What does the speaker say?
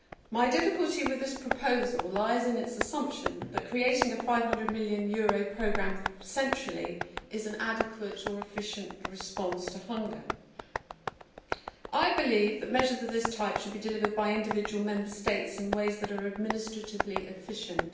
My difficulty with this proposal lies in its assumption that creating a EUR 500 million programme centrally is an adequate or efficient response to hunger. I believe that measures of this type should be delivered by individual Member States in ways which are administratively efficient.